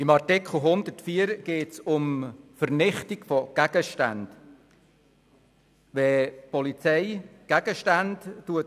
In Artikel 104 geht es um die Vernichtung von Gegenständen.